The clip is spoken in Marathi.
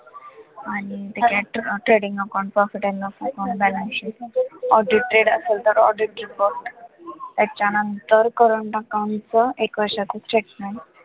आणि trading account profit & loss account balance sheet, audited असेल तर audited बघ, त्याच्यानंतर current account च एक वर्षाचं statement